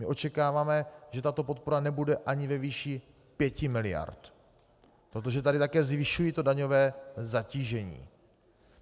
My očekáváme, že tato podpora nebude ani ve výši 5 miliard, protože tady také zvyšují to daňové zatížení.